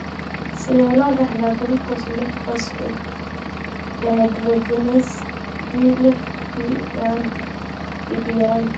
Sidee loo dhaxlaa gulukoos lix phosphate dehydrogenase (G lix PD) yaraanta?